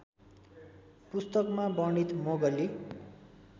पुस्तकमा वर्णित मोगली